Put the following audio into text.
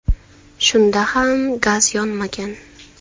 Shunda ham gaz yonmagan.